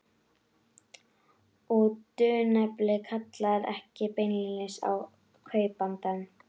Og dulnefnið kallar ekki beinlínis á kaupandann.